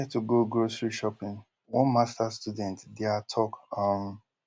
fear tu go grocery shopping one masters student dia tok um